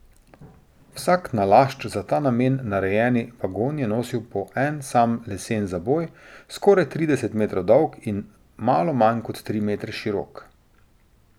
Vsak nalašč za ta namen narejeni vagon je nosil po en sam lesen zaboj, skoraj trideset metrov dolg in malo manj kot tri metre širok.